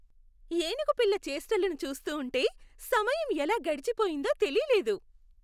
ఏనుగు పిల్ల చేష్టలను చూస్తూ ఉంటె సమయం ఎలా గడిచిపోయిందో తెలీలేదు.